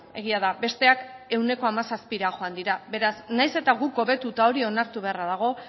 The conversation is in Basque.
egia da besteak ehuneko hamazazpira joan dira beraz nahiz eta guk hobetu eta hori onartu beharra dago